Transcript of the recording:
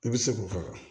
I bɛ se k'o faga